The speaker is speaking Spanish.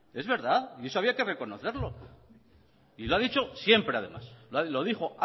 es verdad y eso había que reconocerlo y lo ha dicho siempre además lo dijo